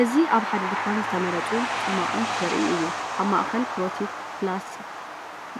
እዚ ኣብ ሓደ ድኳን ዝተመርጹ ጽማቝን ዘርኢ እዩ። ኣብ ማእከል “ትሮፒክ ፕላስ